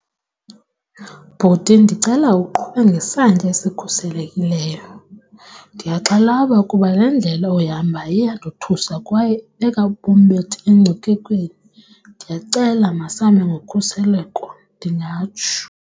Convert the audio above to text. Bhuti, ndicela uqhube ngesantya esikhuselekileyo. Ndiyaxhalaba kuba le ndlela oyihambayo iyandothusa kwaye ibeka ubomi bethu engcuphekweni, ndiyacela masambe ngokhuseleko. Ndingatsho.